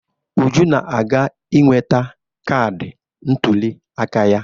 Uju na-aga iweta kaadị ntụliaka ya.